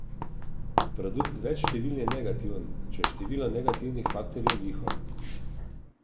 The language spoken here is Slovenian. Produkt več števil je negativen, če je število negativnih faktorjev liho.